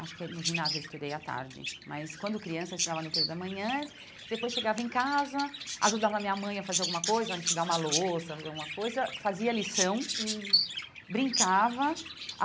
Acho que é no ginásio eu estudei à tarde, mas quando criança eu estudava no período da manhã, depois chegava em casa, ajudava a minha mãe a fazer alguma coisa, a enxugar uma louça, fazer alguma coisa, fazia lição, hum brincava.